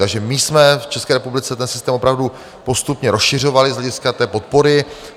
Takže my jsme v České republice ten systém opravdu postupně rozšiřovali z hlediska té podpory.